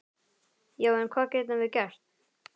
Já, en hvað getum við gert?